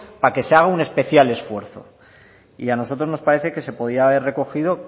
para que se haga un especial esfuerzo y a nosotros nos parece que se podía haber recogido